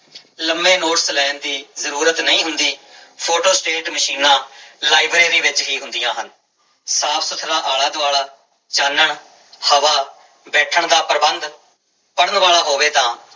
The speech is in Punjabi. ਲੰਮੇ ਨੋਟਸ ਲੈਣ ਦੀ ਜ਼ਰੂਰਤ ਨਹੀਂ ਹੁੰਦੀ, ਫੋਟੋਸਟੇਟ ਮਸ਼ੀਨਾਂ ਲਾਇਬ੍ਰੇਰੀ ਵਿੱਚ ਹੀ ਹੁੰਦੀਆਂ ਹਨ, ਸਾਫ਼ ਸੁੱਥਰਾ ਆਲਾ ਦੁਆਲਾ ਚਾਨਣ ਹਵਾ, ਬੈਠਣ ਦਾ ਪ੍ਰਬੰਧ ਪੜ੍ਹਨ ਵਾਲਾ ਹੋਵੇ ਤਾਂ